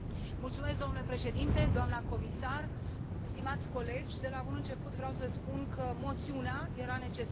Domnule președinte, doamnă comisar, stimați colegi, de la bun început vreau să spun că moțiunea era necesară.